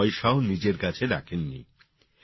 এক পয়সাও নিজের কাছে রাখেননি